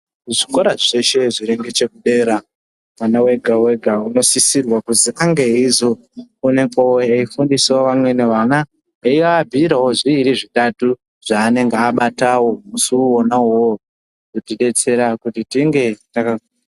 Kuzvikora zveshe zviri ngechepadera mwana wega wega unosisirwa kuti ange eizofundisawo vamweni vana eyiabhuyirawo zviiri zvitatu zvaanenge abatawo musi wona uwowo.